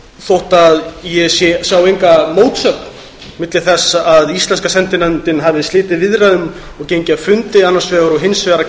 þótt ég sjái enga mótsögn milli þess að íslenska sendinefndin hafi slitið viðræðum og gengið af fundi annars vegar og hins vegar að